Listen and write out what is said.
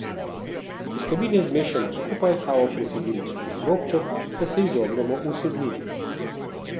Sestavine zmešamo skupaj, kavo precedimo skozi robček, da se izognemo usedlini.